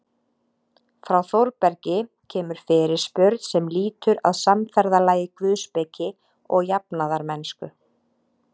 Frá Þórbergi kemur fyrirspurn sem lýtur að samferðalagi guðspeki og jafnaðarmennsku.